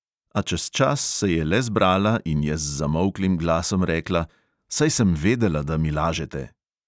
A čez čas se je le zbrala in je z zamolklim glasom rekla: "saj sem vedela, da mi lažete."